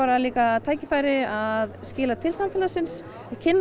tækifæri að skila til samfélagsins kynnast